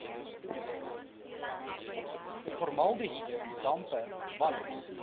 formaldehied dampe walms